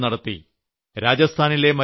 സർക്കാർ ഒരു ജനമുന്നേറ്റം നടത്തി